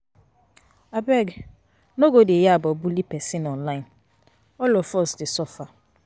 Abeg, no go dey yab or bully pesin online, all of us dey suffer.